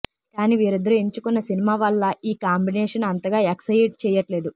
కానీ వీరిద్దరూ ఎంచుకున్న సినిమా వల్ల ఈ కాంబినేషన్ అంతగా ఎక్సయిట్ చేయట్లేదు